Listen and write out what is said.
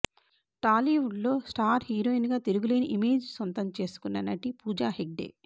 టాలీవుడ్ లో star heroine గా తిరుగులేని ఇమేజ్ సొంతం చేసుకున్న నటి పూజా హెగ్డే